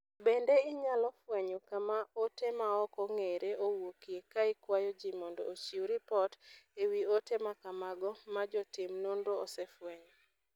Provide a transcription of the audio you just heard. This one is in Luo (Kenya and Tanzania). Bende inyalo fwenyo kama ote ma ok ong'ere owuokie ka ikwayo ji mondo ochiw ripot e wi ote ma kamago ma jotim nonro osefwenyo.